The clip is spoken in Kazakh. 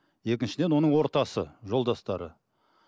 екіншіден оның ортасы жолдастары